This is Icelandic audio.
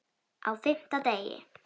Á FIMMTA DEGI